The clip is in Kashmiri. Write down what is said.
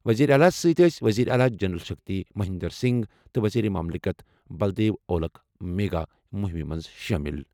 وزیر اعلیٰ سۭتہِ ٲسہِ وزیر اعلیٰ جل شکتی مہندر سنگھ تہٕ وزیر مملکت بلدیو اولکھ میگا مُہِمہِ منٛز شٲمِل۔